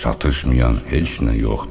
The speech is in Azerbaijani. Çatışmayan heç nə yoxdur.